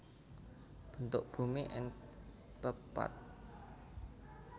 Bentuk Bumi ing Pepatf